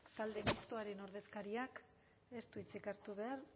talde mistoaren ordezkariak ez du hitzik hartu behar